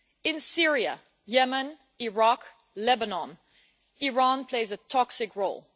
In Syria, Yemen, Iraq and Lebanon, Iran plays a toxic role.